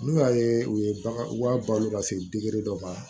N'u y'a ye u ye bagan u b'a balo ka se dɔ ma